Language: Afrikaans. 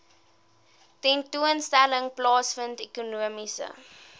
tentoonstelling plaasvind ekonomiese